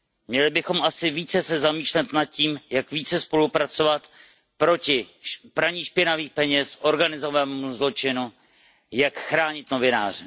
Měli bychom se asi více zamýšlet nad tím, jak více spolupracovat proti praní špinavých peněz, organizovanému zločinu, jak chránit novináře.